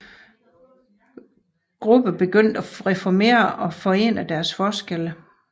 Gruppen begyndte at reformere og forene deres forskelle